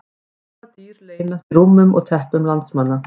Hvaða dýr leynast í rúmum og teppum landsmanna?